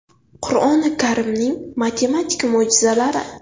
Qur’oni Karimning matematik mo‘jizalari.